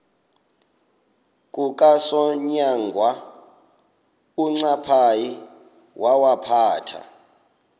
kukasonyangwe uncaphayi wawaphatha